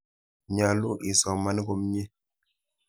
Nyalu isoman komnye.